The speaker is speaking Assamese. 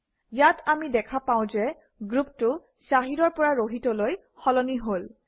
ইয়াত আমি দেখা পাওঁ যে গ্ৰুপটো shahid অৰ পৰা rohit অলৈ সলনি হল